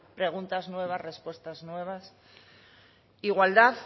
preguntas nuevas respuestas nuevas igualdad